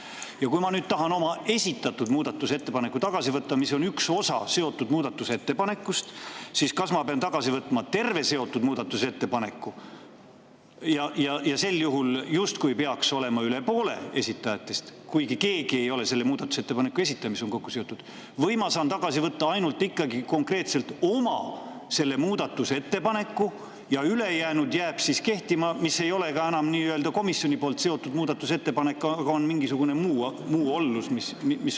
Kui ma tahan nüüd tagasi võtta oma esitatud muudatusettepaneku, mis on üks osa seotud muudatusettepanekust, kas ma pean siis tagasi võtma terve seotud muudatusettepaneku – sel juhul justkui peaks olema üle poole esitajatest, kuigi keegi ei ole selle muudatusettepaneku esitaja, mis on kokku seotud – või ma saan ikkagi tagasi võtta ainult konkreetselt oma muudatusettepaneku ja ülejäänu jääb siis kehtima, kuigi see ei ole enam komisjoni poolt kokku seotud muudatusettepanek, vaid mingisugune muu ollus.